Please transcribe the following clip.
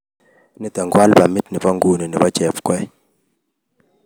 Nitok ko albumit nebo nguno nebo Jepkoech